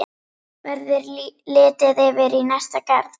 Verður litið yfir í næsta garð.